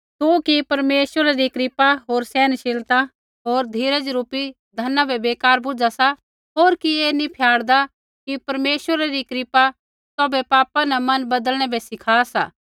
तू कि परमेश्वरा री कृपा होर सहनशीलता होर धीरजरुपी धना बै बेकार बुझा सा होर कि ऐ नी फयाड़दा कि परमेश्वरा री कृपा तौभै पापा न मन बदलनै बै सिखा सा